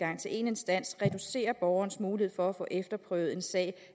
en instans reducerer borgernes muligheder for at få efterprøvet en sag